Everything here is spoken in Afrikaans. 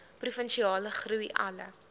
provinsiale groei alle